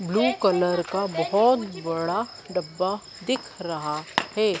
Blue colour का बहोत बड़ा डब्बा दिख रहा है।